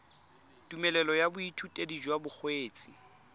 tumelelo ya boithutedi jwa bokgweetsi